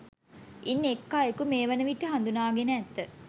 ඉන් එක් අයෙකු මේ වන විට හඳුනාගෙන ඇත